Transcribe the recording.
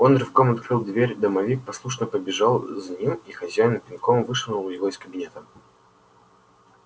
он рывком открыл дверь домовик послушно побежал за ним и хозяин пинком вышвырнул его из кабинета